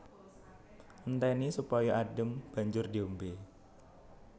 Entèni supaya adhem banjur diombé